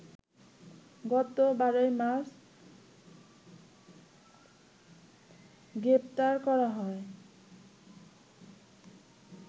গত ১২মার্চ গ্রেপ্তার করা হয়